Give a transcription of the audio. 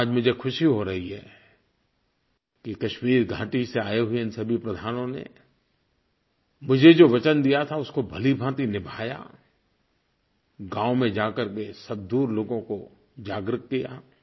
आज मुझे ख़ुशी हो रही है कि कश्मीर घाटी से आए हुए इन सभी प्रधानों ने मुझे जो वचन दिया था उसको भलीभाँति निभाया गाँव में जाकर के सब दूर लोगों को जागृत किया